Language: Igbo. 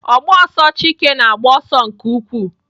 O gbs ọsọ Chike na-agba ọsọ nke ukwuu.